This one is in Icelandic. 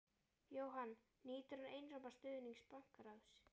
Jóhann: Nýtur hann einróma stuðnings bankaráðs?